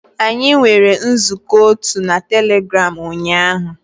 Anyị nwere nzukọ otu na Telegram ụnyaahụ